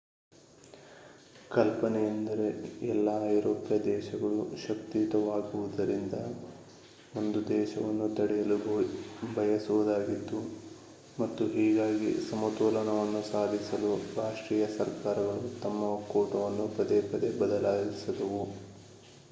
ಕಲ್ಪನೆಯೆಂದರೆ ಎಲ್ಲ ಐರೋಪ್ಯ ದೇಶಗಳೂ ಶಕ್ತಿಯುತವಾಗುವುದರಿಂದ ಒಂದು ದೇಶವನ್ನು ತಡೆಯಲು ಬಯಸುವುದಾಗಿತ್ತು ಮತ್ತು ಹೀಗಾಗಿ ಸಮತೋಲನವನ್ನು ಸಾಧಿಸಲು ರಾಷ್ಟ್ರೀಯ ಸರ್ಕಾರಗಳು ತಮ್ಮ ಒಕ್ಕೂಟವನ್ನು ಪದೇ ಪದೇ ಬದಲಿಸಿದವು